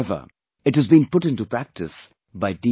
However, it has been put intopractice by D